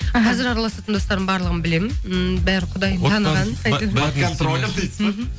іхі қазір араласатын достарын барлығын білемін ммм бәрін құдайын таныған